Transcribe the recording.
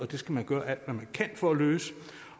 det skal man gøre alt hvad man kan for at løse